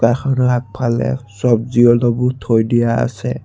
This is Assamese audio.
দোকানখনৰ আগফালে চব্জী অলপও থৈ দিয়া আছে।